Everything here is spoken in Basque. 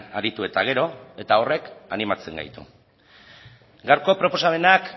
aritu eta gero eta horrek animatzen gaitu gaurko proposamenak